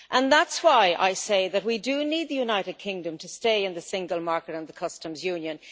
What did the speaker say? That is why I say that we do need the United Kingdom to stay in the single market and the Customs Union.